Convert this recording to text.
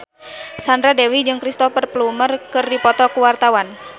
Sandra Dewi jeung Cristhoper Plumer keur dipoto ku wartawan